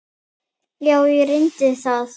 sálin tóm.